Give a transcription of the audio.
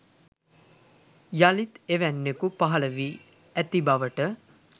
යලිත් එවැන්නෙකු පහල වී ඇති බවට